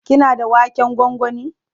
Kina da waken gwangwani?